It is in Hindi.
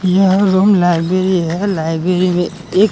यह रूम लाइब्रेरी है लाइब्रेरी मे एक--